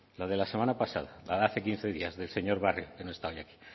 la de la semana pasada la de hace quince días del señor barrio que no está hoy aquí